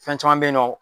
Fɛn caman bɛ yen nɔ